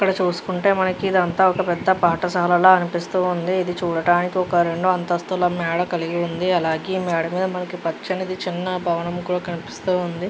ఇక్కడ చూసుకుంటే మనకి ఇదంతా ఒక పెద్ద పాఠశాలాల అనిపిస్తూ ఉంది. ఇది చూడటానికి ఒక రెండు అంతస్తుల మేడ కలిగి ఉంది. అలాగే ఈ మేడ మీద మనకి పచ్చనిది చిన్న భవనం కూడా కనిపిస్తూ ఉంది .